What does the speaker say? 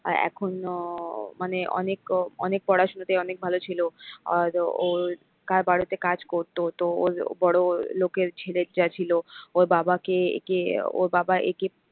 এখনো মানে অনেক অনেক পড়াশুনাতে অনেক ভাল ছিল আর ওর কার বাড়িতে কাজ করত তো ওর বড় লোকের ছেলে যা ছিল ওর বাবা কে এ কে ওর বাবা এ কে,